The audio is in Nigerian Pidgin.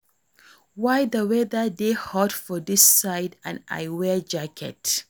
Why the weather dey hot for dis side and I wear jacket